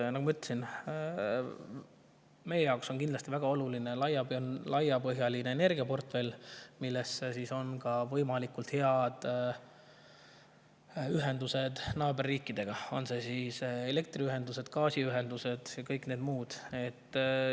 Nagu ma ütlesin, meie jaoks on kindlasti väga oluline laiapõhjaline energiaportfell, milles on ka võimalikult head ühendused naaberriikidega, on need siis elektriühendused või gaasiühendused, ka kõik muud.